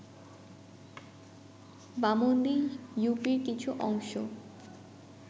বামন্দি ইউপির কিছু অংশ